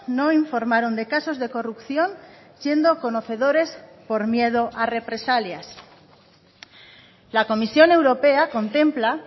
no informaron de casos de corrupción siendo conocedores por miedo a represalias la comisión europea contempla